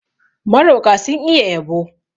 Maroƙa sun iya yabo.